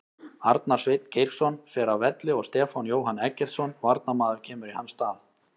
Arnar Sveinn Geirsson fer af velli og Stefán Jóhann Eggertsson varnarmaður kemur í hans stað.